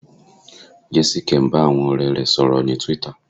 Jésíkẹ́ ń bá àwọn ọ̀rẹ́ rẹ̀ sọ̀rọ̀ ní Twitter.